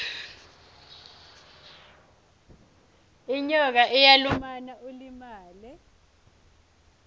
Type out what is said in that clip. inyoka iyalumana ulimale